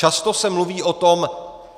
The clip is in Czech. Často se mluví o tom: